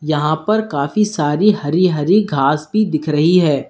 यहां पर काफी सारी हरी हरी घास भी दिख रही है।